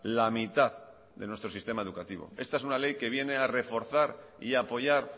la mitad de nuestro sistema educativo esta es una ley que viene a reforzar y apoyar